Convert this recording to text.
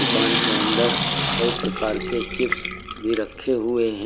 दुकान के अंदर कई प्रकार के चिप्स भी रखे हुए हैं।